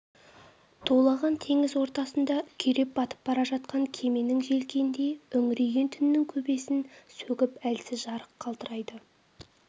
тулаған теңіз ортасында күйреп батып бара жатқан кеменің желкеніндей үңірейген түннің көбесін сөгіп әлсіз жарық қалтырайды